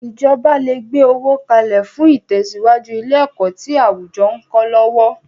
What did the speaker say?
Ìjọba le gbe owó kalẹ̀ fún itesiwaju ilé ẹ̀kọ́ tí àwùjọ ń kọ́ lọ́wọ́.